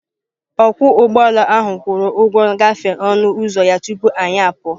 Ọkwọ ụgbọala ahụ kwụrụ ụgwọ ngafe onụ uzọ ya tupu anyị apụọ.